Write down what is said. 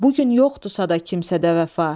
Bu gün yoxdursa da kimsədə vəfa.